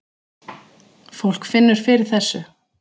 Fólk finnur fyrir þessu